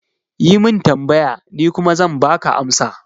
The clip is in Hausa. Yi min tambaya, ni kuma zan baka amsa